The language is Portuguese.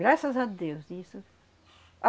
Graças a Deus, isso.